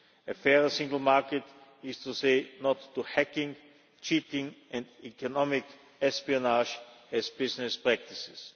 A fairer single market means saying no' to hacking, cheating and economic espionage as business practices.